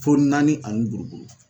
Fo naani ani buruburu